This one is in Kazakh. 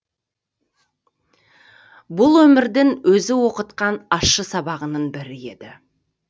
бұл өмірдің өзі оқытқан ащы сабағының бірі еді